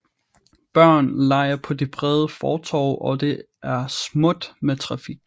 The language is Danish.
Børn leger på de brede fortove og det er småt med trafik